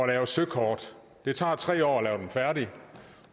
lave søkort det tager tre år dem færdige